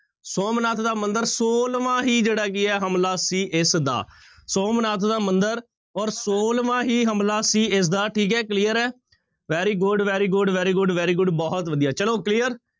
ਸੋਮਨਾਥ ਦਾ ਮੰਦਿਰ ਛੋਲਵਾਂ ਹੀ ਜਿਹੜਾ ਕੀ ਹੈ ਹਮਲਾ ਸੀ ਇਸਦਾ ਸੋਮਨਾਥ ਦਾ ਮੰਦਿਰ ਔਰ ਛੋਲਵਾਂ ਹੀ ਹਮਲਾ ਸੀ ਇਸਦਾ ਠੀਕ ਹੈ clear ਹੈ very good, very good, very good, very good ਬਹੁਤ ਵਧੀਆ ਚਲੋ clear